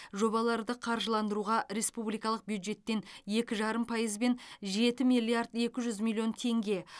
жобаларды қаржыландыруға республикалық бюджеттен екі жарым пайызбен жеті миллиард екі жүз миллион теңге